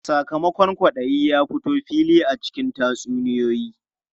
Sakamakon kwaɗayi ya fito fili a cikin tatsuniyoyi.